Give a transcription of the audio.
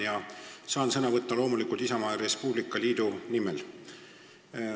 Ma saan sõna võtta loomulikult Isamaa ja Res Publica Liidu nimel.